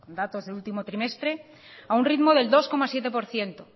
datos del último trimestre a un ritmo del dos coma siete por ciento